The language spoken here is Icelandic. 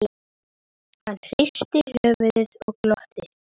Hann hristi höfuðið og glotti.